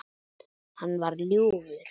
Hann var ljúfur.